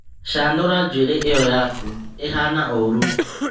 Canũra njũĩrĩ iyo yaku ĩhana wũru.